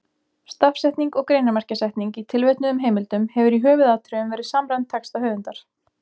Stafsetning og greinarmerkjasetning í tilvitnuðum heimildum hefur í höfuðatriðum verið samræmd texta höfundar.